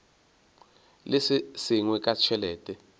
le se sengwe ka tšhelete